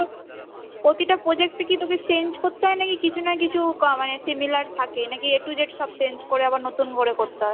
প্রতিটা project এ কি তোকে change করতে হয় নাকি কিছু না কিছু similar থাকলে না কি A to Z সব change করে নতুন করে করতে হয়,